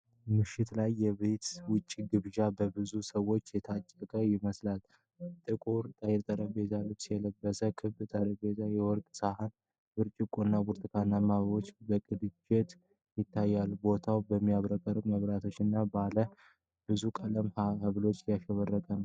ምሽት ላይ የቤት ውጭ ግብዣ በብዙ ሰዎች የታጨቀ ይመስላል። ጥቁር የጠረጴዛ ልብስ ያለበት ክብ ጠረጴዛ፣ የወርቅ ሳህኖች፣ ብርጭቆዎች እና ብርቱካናማ አበባዎች በቅንጅት ይታያሉ። ቦታው በሚያብረቀርቁ መብራቶች እና ባለ ብዙ ቀለም ብርሃን ያሸበረቀ ነው።